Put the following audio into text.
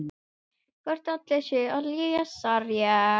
Hann umvefur og faðmar.